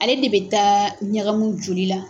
Ale de bɛ taa ɲagamu joli la.